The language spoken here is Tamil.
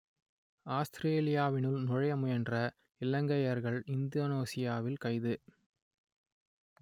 ஆஸ்த்திரேலியாவினுள் நுழைய முயன்ற இலங்கையர்கள் இந்தோனேசியாவில் கைது